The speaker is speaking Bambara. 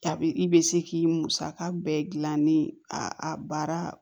A bɛ i bɛ se k'i musaka bɛɛ dilan ni a baara